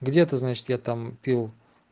где это значит я там пил